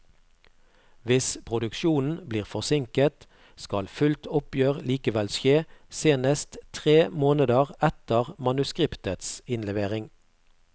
Hvis produksjonen blir forsinket, skal fullt oppgjør likevel skje senest tre måneder etter manuskriptets innlevering.